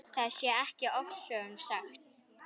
Það sé ekki ofsögum sagt.